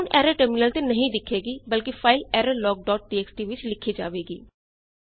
ਹੁਣ error terminal ਤੇ ਨਹੀਂ ਦਿਖੇਗੀ ਬਲਕਿ ਫਾਈਲ ਏਰਰਲੌਗ ਡਾਟ ਟੀਐਕਸਟੀ ਵਿੱਚ ਲਿਖੀ ਜਾਵੇਗੀ